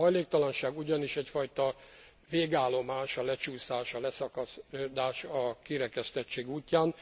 A hajléktalanság ugyanis egyfajta végállomás a lecsúszás, a leszakadás, a kirekesztettség útján.